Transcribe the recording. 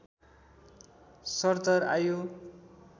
सरदर आयु